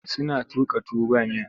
Suna tuƙa tuwa ba miya.